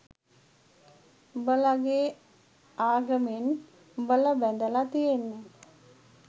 උඹලගෙ ආගමෙන් උඹල බැඳලා තියෙන්නෙ